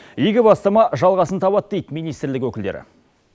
игі бастама жалғасын табады дейді министрлік өкілдері